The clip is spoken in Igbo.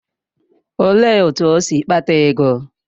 Olee otú o si kpata ego?